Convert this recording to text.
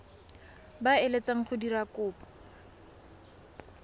ba eletsang go dira kopo